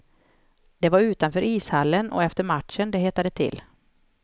Det var utanför ishallen och efter matchen det hettade till.